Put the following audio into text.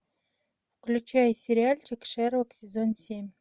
включай сериальчик шерлок сезон семь